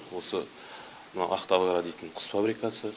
осы мынау ақтауагро деген құс фабрикасы